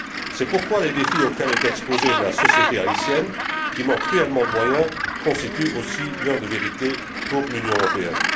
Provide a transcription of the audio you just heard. C'est pourquoi les défis auxquels est exposée la société haïtienne, qui manque cruellement de moyens, constituent aussi l'heure de vérité pour l'Union européenne.